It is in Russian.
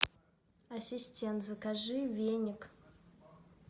ассистент закажи веник